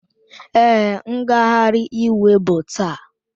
Èé, ngagharị iwe bụ taa.